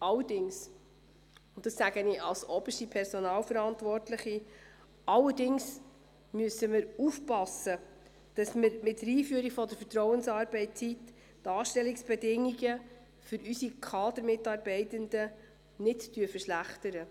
Allerdings, und ich sage das als oberste Personalverantwortliche, müssen wir aufpassen, dass wir mit der Einführung der Vertrauensarbeitszeit die Anstellungsbedingungen für unsere Kadermitarbeitenden nicht verschlechtern.